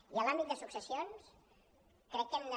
i en l’àmbit de successions crec que hem de